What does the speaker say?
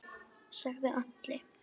sagði Alli.